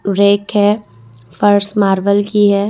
Rack है फर्श marble की हैं।